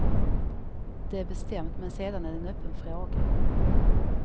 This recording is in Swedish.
Det är bestämt, men sedan är det en öppen fråga.